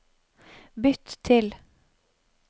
bytt til